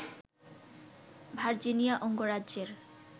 Virginia অঙ্গরাজ্যের